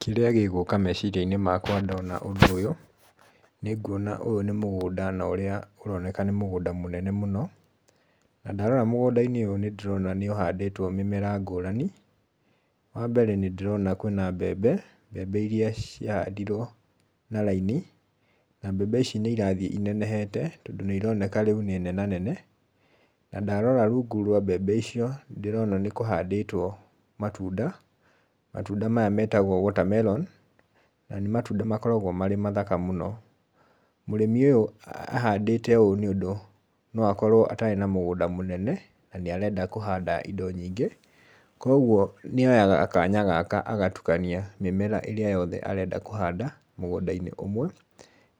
Kĩrĩa gĩgũka meciria-inĩ makwa ndona ũndũ ũyũ, nĩ nguona ũyũ nĩ mũgũnda na ũrĩa ũroneka nĩ mũgũnda mũnene mũno, na ndarora mũgũnda-inĩ ũyũ nĩ ndĩrona nĩ ũhandĩtwo mĩmera ngũrani, wambere nĩ ndĩrona kwĩna mbembe, mbembe iria ciahandirwo na raini, na mbembe ici nĩ irathiĩ inenehete tondũ nĩ ironeka rĩu nĩ nenanene, na ndarora rungu rwa mbembe icio, nĩ ndĩrona nĩ kũhandĩtwo matunda, matunda maya metagwo water melon, na nĩ matunda makoragwo marĩ mathaka mũno. Mũrĩmi ũyũ ahandĩte ũũ nĩũndũ no akorwo atarĩ na mũgũnda mũnene, na nĩ arenda kũhanda indo nyingĩ, koguo nĩ oyaga kanya gaka agatukania mĩmera ĩrĩa yothe arenda kũhanda mũgũnda-inĩ ũmwe,